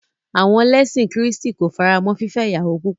À̀wọn lẹ́sìn kìrìtẹ́nì ko faramọ́ fífẹ́ ìyàwó púpọ̀.